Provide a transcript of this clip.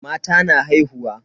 Mata na haihuwa.